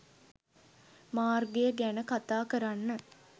මාර්ගය ගැන කතා කරන්න